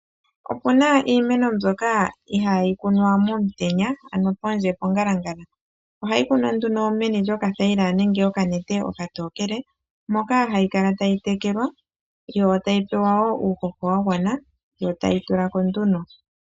Opu na iimeno mbyoka ihaa yi kunwa momutenya ano pondje pongalangala. Ohayi kunwa nduno meni lyokathaila nenge okanete okatookele, moka hayi kala tayi tekelwa yo tayi pewa wo uuhoho wa gwana, yo tayi tula ko nduno.